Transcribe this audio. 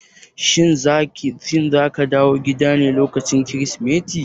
Shin zaka dawo gida ne lokacin Kirsimeti?